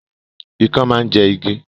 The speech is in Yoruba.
Ikán máa ń jẹ igi